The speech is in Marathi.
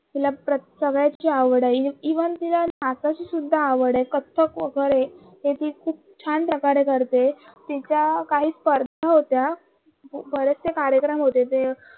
तिला सगळ्याची आवड आहे इवन तिला नाचायची सुद्धा आवड आहे कच्चे कत्थक वगेरे ते ती खूप छान प्रकारे करते तिच्या काही स्पर्धा होता बरेचशे कार्यक्रम होते ते